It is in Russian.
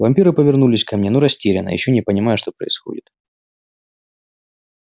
вампиры повернулись ко мне но растерянно ещё не понимая что происходит